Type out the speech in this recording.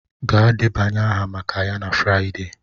Gaa debanye aha maka ya na Friday!